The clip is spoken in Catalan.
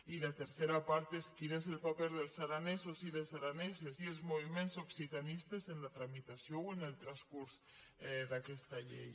i la tercera part és quin és el paper dels aranesos i les araneses i els moviments occitanistes en la tramitació o en el transcurs d’aquesta llei